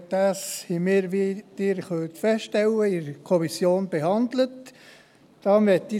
der SiK. Wir haben dies in der Kommission behandelt, wie Sie feststellen können.